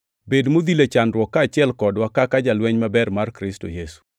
Bed modhil e chandruok kaachiel kodwa kaka jalweny maber mar Kristo Yesu.